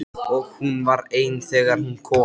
Og hún var ein þegar hún kom.